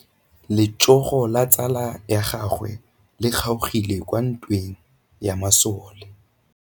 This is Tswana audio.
Letsôgô la tsala ya gagwe le kgaogile kwa ntweng ya masole.